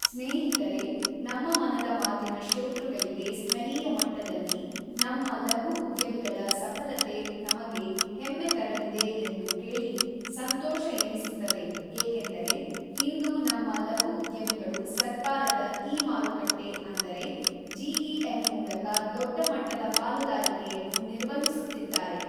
ಸ್ನೇಹಿತರೆ, ನಮ್ಮ ಮನದ ಮಾತಿನ ಶ್ರೋತೃಗಳಿಗೆ ಸ್ಥಳೀಯ ಮಟ್ಟದಲ್ಲಿ ನಮ್ಮ ಲಘು ಉದ್ಯಮಿಗಳ ಸಫಲತೆ ನಮಗೆ ಹೆಮ್ಮೆ ತರಲಿದೆ ಎಂದು ಕೇಳಿ ಸಂತೋಷ ಎನಿಸುತ್ತದೆ ಏಕೆಂದರೆ ಇಂದು ನಮ್ಮ ಲಘು ಉದ್ಯಮಿಗಳು ಸರ್ಕಾರದ ಇ ಮಾರುಕಟ್ಟೆ ಅಂದರೆ ಜಿ ಇ ಎಂ ಮೂಲಕ ದೊಡ್ಡ ಮಟ್ಟದ ಪಾಲುದಾರಿಕೆಯನ್ನು ನಿರ್ವಹಿಸುತ್ತಿದ್ದಾರೆ.